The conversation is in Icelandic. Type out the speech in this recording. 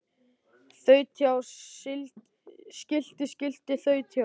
Þaut hjá skilti skilti þaut hjá